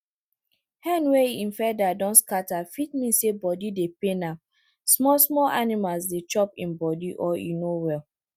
hen wey e feather don scatter fit mean say body dey pain am small small animals dey chop im body or e no well